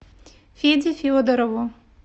феде федорову